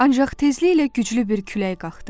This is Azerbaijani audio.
Ancaq tezliklə güclü bir külək qalxdı.